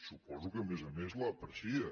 suposo que a més a més l’aprecia